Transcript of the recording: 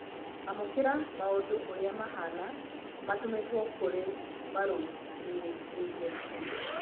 amũkĩra maũndu ũrĩa mahana matũmĩtwo kũri marũmĩrĩire